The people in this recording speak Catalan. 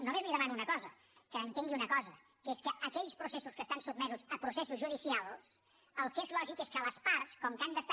només li demano una cosa que entengui una cosa que és que en aquells processos que estan sotmesos a processos judicials el que és lògic és que les parts com que han d’estar